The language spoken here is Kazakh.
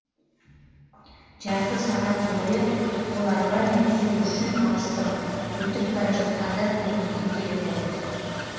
жарты сағат бойы қоларбамен түсу үшін алыстым өтіп бара жатқандар көмекке келді